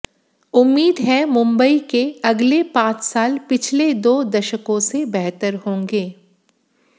उम्मीद है मुंबई के अगले पांच साल पिछले दो दशकों से बेहतर होंगे